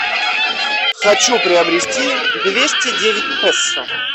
хочу приобрести двести девять песо